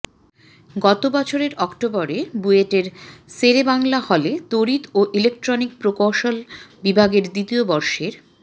গত বছরের অক্টোবরে বুয়েটের শেরেবাংলা হলে তড়িৎ ও ইলেকট্রনিক প্রকৌশল বিভাগের দ্বিতীয় বর্ষের